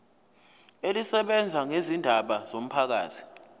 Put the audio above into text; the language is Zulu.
elisebenza ngezindaba zomphakathi